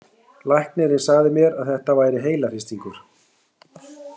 Læknirinn sagði mér að þetta væri heilahristingur.